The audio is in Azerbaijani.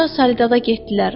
Sonra salidada getdilər.